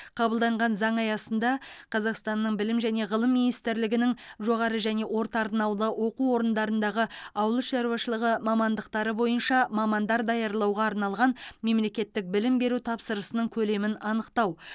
қабылданған заң аясында қазақстанның білім және ғылым министрлігінің жоғары және орта арнаулы оқу орындарындағы ауыл шаруашылығы мамандықтары бойынша мамандар даярлауға арналған мемлекеттік білім беру тапсырысының көлемін анықтау